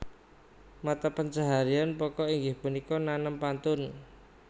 Mata pencaharian pokok inggih punika nanem pantun